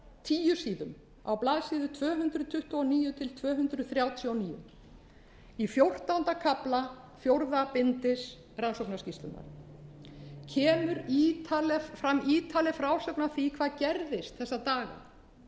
tíu síðum á blaðsíðu tvö hundruð tuttugu og níu til tvö hundruð þrjátíu og níu í fjórtánda kafla fjórðu bindis rannsóknarskýrslunnar hér er ítarleg frásögn af því hvað gerðist þessa daga dagana